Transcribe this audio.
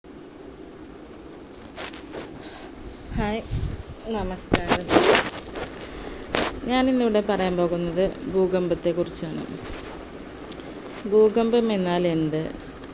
hi നമസ്കാരം ഞാനിന്ന് ഇവിടെ പറയാൻ പോകുന്നത് ഭൂകമ്പത്തെ കുറിച്ചാണ് ഭൂകമ്പം എന്നാൽ എന്ത്